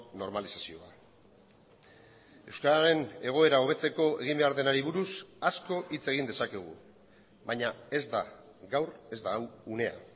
normalizazioa euskararen egoera hobetzeko egin behar denari buruz asko hitz egin dezakegu baina ez da gaur ez da hau unea